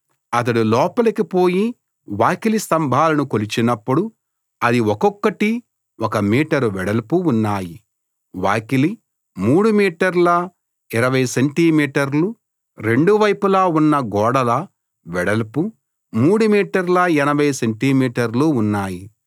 అతడు లోపలికి పోయి వాకిలి స్తంభాలను కొలిచినప్పుడు అది ఒక్కొక్కటి ఒక మీటరు వెడల్పు ఉన్నాయి వాకిలి 3 మీటర్ల 20 సెంటి మీటర్లు రెండు వైపులా ఉన్న గోడల వెడల్పు 3 మీటర్ల 80 సెంటి మీటర్లు ఉన్నాయి